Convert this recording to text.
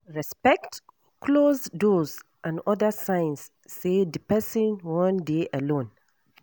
Respect closed doors and oda signs sey di person wan dey alone